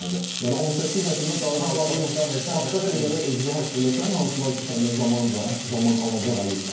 Yəni 18 yaşında daha başqa şeylərə özünü həsr eləsən, hansılar ki, səndən zaman, zaman alacaq əlindən.